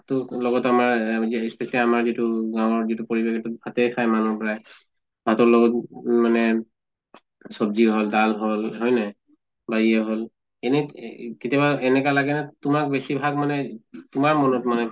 তো লগতে আমাৰ specially আমাৰ যিটো গাঁৱৰ যিটো পৰিবেশ এইটো ভাতে খায় মানুহ প্ৰায়। ভাতৰ লগত মানে চব্জি হʼল দাল হʼল হয় নে? বা ইয়ে হʼল এনে এ এহ কেতিয়াবা এনেকা লাগে না তোমাক বেছি ভাগ মানে তোমাৰ মনত মানে